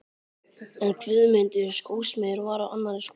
En Guðmundur skósmiður var á annarri skoðun.